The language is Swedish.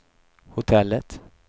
hotellet